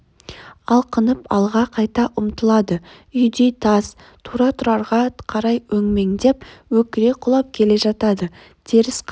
алқынып алға қайта ұмтылады үйдей тас тура тұрарға қарай өңмендеп өкіре құлап келе жатады теріс қарап